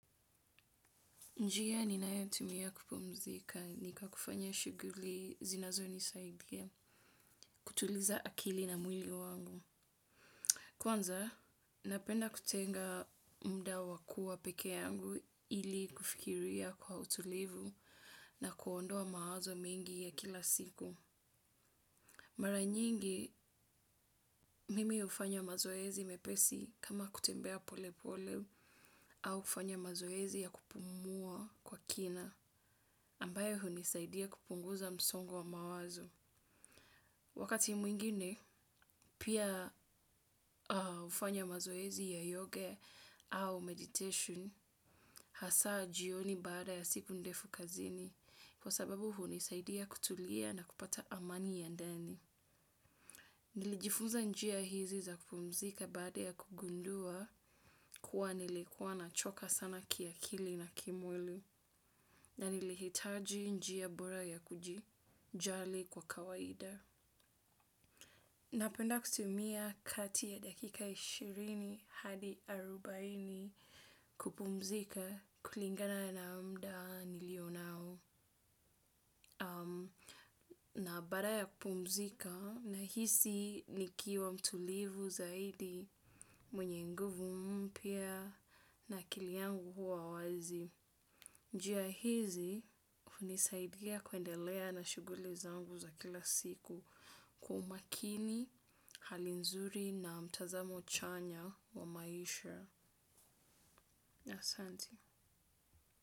Njia ninayotumia kupumzika nikwa kufanya shughuli zinazo nisaidia, kutuliza akili na mwili wangu. Kwanza, napenda kutenga mda wakua peke yangu ili kufikiria kwa utulivu na kuondoa mawazo mengi ya kila siku. Mara nyingi, mimi hufanya mazoezi mepesi kama kutembea pole pole au kufanya mazoezi ya kupumua kwa kina. Ambayo hunisaidia kupunguza msongo wa mawazo. Wakati mwingine, pia hufanya mazoezi ya yoga au meditation, hasa jioni baada ya siku ndefu kazini, kwa sababu hu nisaidia kutulia na kupata amani ya ndani. Nilijifunza njia hizi za kupumzika baada ya kugundua, kuwa nilikuwa na choka sana kiakili na kimwili, na nilihitaji njia bora ya kuji jali kwa kawaida. Napenda kutumia kati ya dakika ishirini hadi arobaini kupumzika kulingana na mda nilio nao. Na baada ya kupumzika na hisi nikiwa mtulivu zaidi mwenye nguvu mpya na akili yangu huwa wazi. Njia hizi, hunisaidia kuendelea na shuguli zangu za kila siku kwa umakini hali nzuri na mtazamo chanya wa maisha. Na asante.